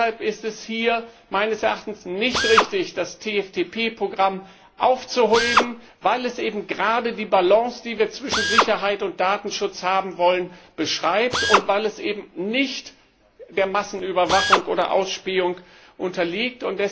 Deshalb ist es hier meines Erachtens nicht richtig, das TFTP Programm aufzuheben, weil es eben gerade die Balance, die wir zwischen Sicherheit und Datenschutz haben wollen, beschreibt und weil es eben nicht der Massenüberwachung oder Ausspähung unterliegt.